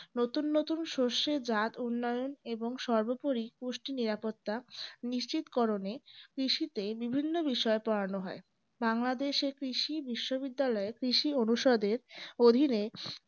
নতুন নতুন শষ্যের জাত উন্নয়ন এবং সর্বোপরি পুষ্টি নিরাপত্তা নিশ্চিতকরণে কৃষিতে বিভিন্ন বিষয়ে পড়ানো হয়। বাংলাদেশে কৃষি বিশ্ববিদ্যালয় কৃষি অনুসাদের অধীনে